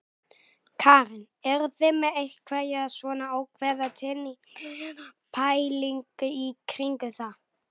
Karen: Eruð þið með einhverja svona ákveðna tengingu eða pælingu í kringum það?